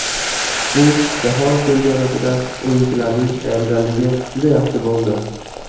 Bu jahon chempionatida o‘yinchilarning tayyorgarligi juda yaxshi bo‘ldi.